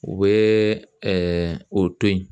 U bɛ o to yen